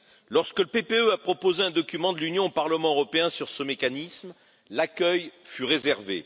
Lorsque le PPE a proposé un document de l'Union au Parlement européen sur ce mécanisme, l'accueil fut réservé.